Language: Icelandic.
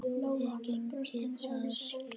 Þið eigið það skilið.